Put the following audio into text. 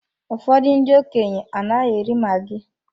Ụfọdụ ndị okenye anaghị eri maggi